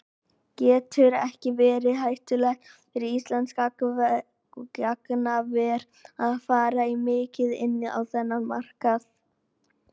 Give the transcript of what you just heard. Getur ekki verið hættulegt fyrir íslenskt gagnaver að fara of mikið inn á þennan markað?